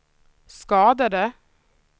skadade